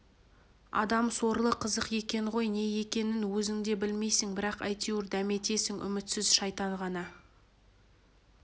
адам сорлы қызық екен ғой не екенін өзің де білмейсің бірақ әйтеуір дәметесің үмітсіз шайтан ғана